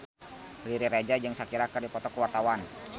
Riri Reza jeung Shakira keur dipoto ku wartawan